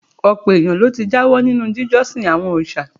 Ọ̀pọ̀ èèyàn ló ti jáwọ́ nínú jíjọ́sìn àwọn òrìṣà